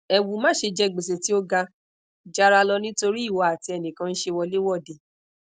ewu mase je gbese ti o ga jara lo nitori iwo ati enikan nse wolewode